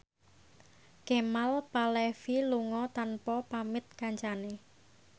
Kemal Palevi lunga tanpa pamit kancane